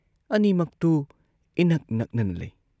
ꯑꯅꯤꯃꯛꯇꯨ ꯏꯅꯛ ꯅꯛꯅꯅ ꯂꯩ ꯫